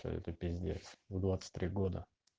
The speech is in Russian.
то это пиздец в двадцать три года